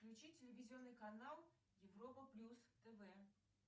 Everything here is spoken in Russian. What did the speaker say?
включи телевизионный канал европа плюс тв